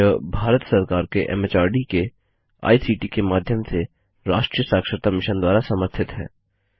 यह भारत सरकार के एमएचआरडी के आईसीटी के माध्यम से राष्ट्रीय साक्षरता मिशन द्वारा समर्थित है